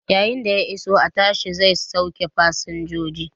Yayin da ya iso, a tasha zai sauke fasinjojin.